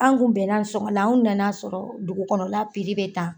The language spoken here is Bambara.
An kun bɛnna sɔngɔn la anw na n'a sɔrɔ dugu kɔnɔ la bɛ tan.